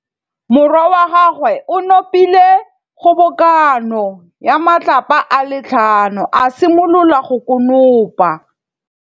Morwa wa gagwe o nopile kgobokanô ya matlapa a le tlhano, a simolola go konopa.